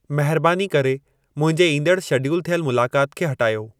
महिरबानी करे मुंहिंजे ईंदड़ शेडियुल थियल मुलाक़ात खे हटायो